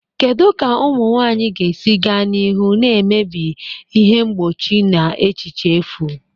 Kedu ka ụmụ nwanyị ga-esi gaa n'ihu na-emebi ihe mgbochi na echiche efu?